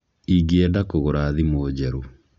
Ingĩenda kũgũra thimũ njerũ.